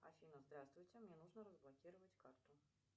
афина здравствуйте мне нужно разблокировать карту